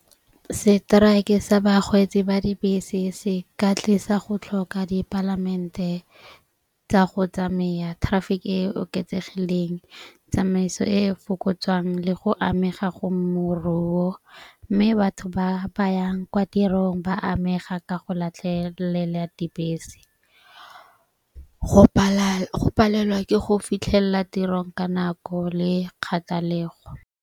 Seteraeke sa bakgweetsi ba dibese se ka tlisa go tlhoka dipalamente tsa go tsamaya traffic e oketsegileng, tsamaiso e e fokotsang le go amega go moruo. Mme batho ba bayang kwa tirong ba amega ka go latlhelela dibese, go go palelwa ke go fitlhelela tirong ka nako le kgathalego.